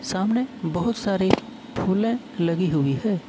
सामने बहुत सारे फूले लगी हुई है।